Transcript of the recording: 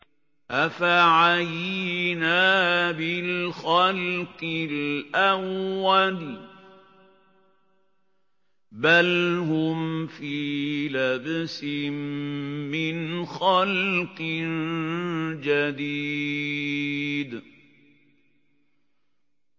أَفَعَيِينَا بِالْخَلْقِ الْأَوَّلِ ۚ بَلْ هُمْ فِي لَبْسٍ مِّنْ خَلْقٍ جَدِيدٍ